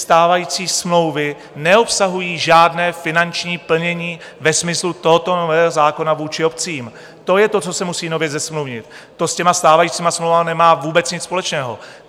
Stávající smlouvy neobsahují žádné finanční plnění ve smyslu tohoto nového zákona vůči obcím, to je to, co se musí nově zasmluvnit, to s těmi stávajícími smlouvami nemá vůbec nic společného.